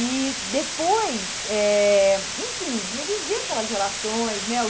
E depois, eh enfim, ia viver aquelas relações, né?